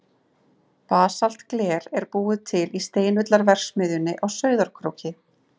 Basaltgler er búið til í Steinullarverksmiðjunni á Sauðárkróki.